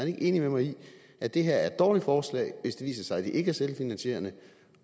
ikke enig med mig i at det her er et dårligt forslag hvis det viser sig at det ikke er selvfinansierende